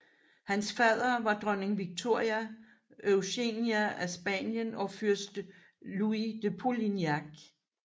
Hans faddere var Dronning Victoria Eugenia af Spanien og Fyrst Louis de Polignac